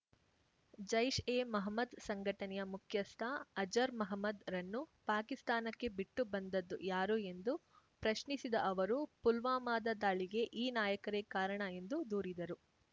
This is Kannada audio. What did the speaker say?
ಜೈಷ್ ಎ ಮಹಮ್ಮದ್ ಸಂಘಟನೆಯ ಮುಖ್ಯಸ್ಥ ಅಜರ್ ಮಹಮ್ಮದ್ ರನ್ನು ಪಾಕಿಸ್ತಾನಕ್ಕೆ ಬಿಟ್ಟು ಬಂದದ್ದು ಯಾರು ಎಂದು ಪ್ರಶ್ನಿಸಿದ ಅವರು ಪುಲ್ವಾಮದ ದಾಳಿಗೆ ಈ ನಾಯಕರೇ ಕಾರಣ ಎಂದು ದೂರಿದರು